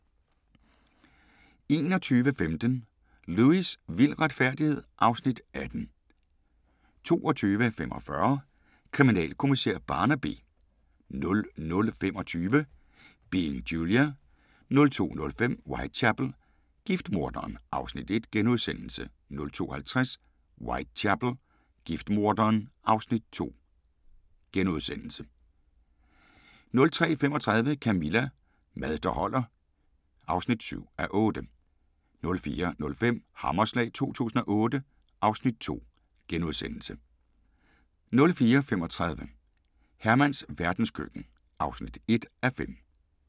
21:15: Lewis: Vild retfærdighed (Afs. 18) 22:45: Kriminalkommissær Barnaby 00:25: Being Julia 02:05: Whitechapel: Giftmorderen (Afs. 1)* 02:50: Whitechapel: Giftmorderen (Afs. 2)* 03:35: Camilla – Mad der holder (7:8) 04:05: Hammerslag 2008 (Afs. 2)* 04:35: Hermans verdenskøkken (1:5)